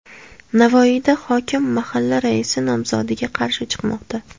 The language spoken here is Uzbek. Navoiyda hokim mahalla raisi nomzodiga qarshi chiqmoqda .